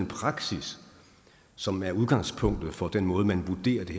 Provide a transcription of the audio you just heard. praksis som er udgangspunktet for den måde man vurderer det